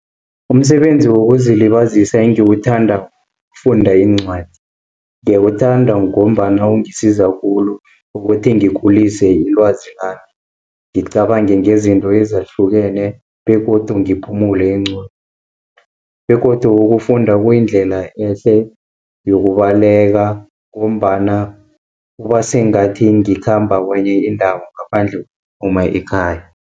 Umsebenzi wokuzilibazisa engiwuthandako kufunda iincwadi, ngiyawuthanda ngombana kungisiza khulu ukuthi ngikhulise ilwazi lami. Ngicabange ngezinto ezahlukene, begodu ngiphumule engqondweni begodu ukufunda kuyindlela ehle yokubaleka, ngombana kubasengathi ngikhamba kwenye indawo ngaphandle phuma ekhaya.